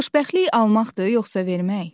Xoşbəxtlik almaqdır yoxsa vermək?